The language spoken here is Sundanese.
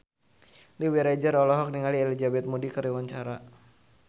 Dewi Rezer olohok ningali Elizabeth Moody keur diwawancara